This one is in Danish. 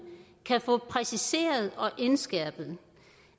kan få præciseret og indskærpet